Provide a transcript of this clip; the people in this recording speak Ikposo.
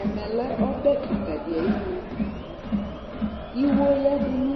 ɛmɛ lɛ ɔbɛ kika di ayi nu, iwo yadu nu